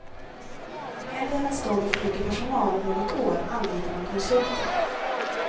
Hellre än att stå med för mycket personal om något år anlitar man konsulter.